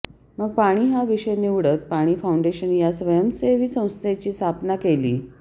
मग पाणी हा विषय निवडत पाणी फाउंडेशन या स्वयंसेवी संस्थेची स्थापना केली